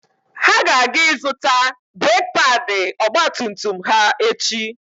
Ha ga-aga ịzụta breeki paadị ọgba tum tum ha echi.